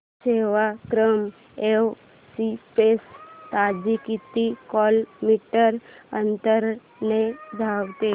Sevagram express ताशी किती kilometre अंतराने धावते